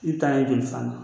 I bi taa ye jɔli fana ?